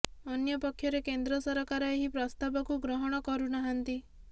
ଅନ୍ୟ ପକ୍ଷରେ କେନ୍ଦ୍ର ସରକାର ଏହି ପ୍ରସ୍ତାବକୁ ଗ୍ରହଣ କରୁନାହାନ୍ତି